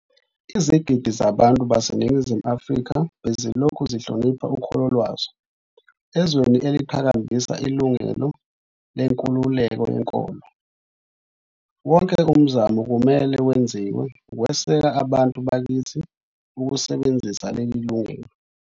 Izigidi zabantu baseNingizimu Afrika bezilokhu zihlonipha ukholo lwazo. Ezweni eliqhakambisa ilungelo lenkululeko yenkolo, wonke umzamo kumele wenziwe ukweseka abantu bakithi ukusebenzisa leli lungelo.